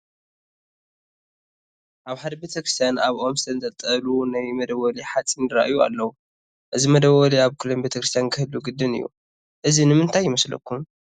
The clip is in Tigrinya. ኣብ ሓደ ቤተ ክርስቲያን ኣብ ኦም ዝተንጠልጠሉ ናይ መደወሊ ሓፂን ይርአዩ ኣለዉ፡፡ እዚ መደወሊ ኣብ ኩለን ቤተ ክርስቲያን ክህሉ ግድን እዩ፡፡ እዚ ንምንታይ ይመስለኩም?